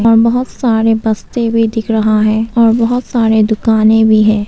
और बहुत सारे बस्ते भी दिख रहा है और बहुत सारे दुकाने भी है।